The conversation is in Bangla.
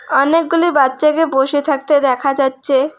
অনেকগুলি বাচ্চাকে বসে থাকতে দেখা যাচ্ছে।